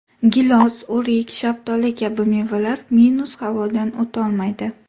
Gilos, o‘rik, shaftoli kabi mevalar minus havodan o‘tolmaydi.